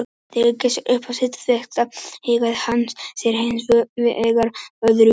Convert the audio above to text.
Þegar Geysir var upp á sitt besta hegðaði hann sér hins vegar öðruvísi.